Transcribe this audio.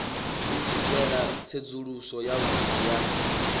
u swikela tsedzuluso yavhudi ya